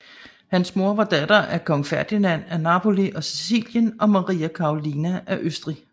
Hans mor var datter af kong Ferdinand af Napoli og Sicilien og Maria Karolina af Østrig